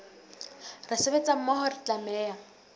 re sebetsa mmoho re tlameha